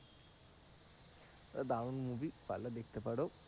দারুন movie পারলে দেখতে পারো।